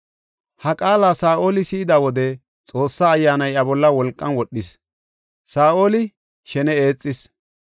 Ha qaala Saa7oli si7ida wode Xoossa Ayyaanay iya bolla wolqan wodhis; Saa7oli shene eexis.